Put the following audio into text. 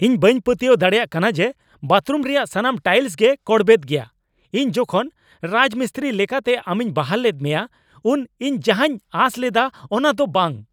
ᱤᱧ ᱵᱟᱹᱧ ᱯᱟᱹᱛᱭᱟᱹᱣ ᱫᱟᱲᱮᱭᱟᱜ ᱠᱟᱱᱟ ᱡᱮ ᱵᱟᱛᱷᱨᱩᱢ ᱨᱮᱭᱟᱜ ᱥᱟᱱᱟᱢ ᱴᱟᱭᱤᱞᱥ ᱜᱮ ᱠᱚᱲᱵᱮᱫ ᱜᱮᱭᱟ ! ᱤᱧ ᱡᱚᱠᱷᱮᱡ ᱨᱟᱡᱽᱢᱤᱥᱛᱨᱤ ᱞᱮᱠᱟᱛᱮ ᱟᱢᱤᱧ ᱵᱟᱦᱟᱞ ᱞᱮᱫ ᱢᱮᱭᱟ ᱩᱱ ᱤᱧ ᱡᱟᱦᱟᱧ ᱟᱸᱥ ᱞᱮᱫᱟ ᱚᱱᱟ ᱫᱚ ᱵᱟᱝ ᱾